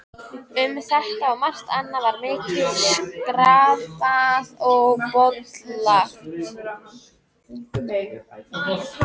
Um þetta og margt annað var mikið skrafað og bollalagt.